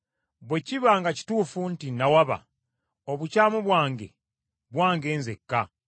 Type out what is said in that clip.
Bwe kiba nga kituufu nti nawaba, obukyamu bwange, bwange nzekka.